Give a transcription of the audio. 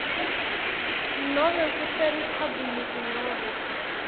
nobe kuseriphabhuliki nobe